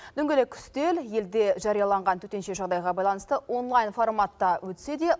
дөңгелек үстел елде жарияланған төтенше жағдайға байланысты онлайн форматта өтсе де